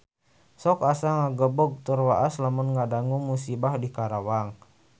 Sok asa ngagebeg tur waas lamun ngadangu musibah di Karawang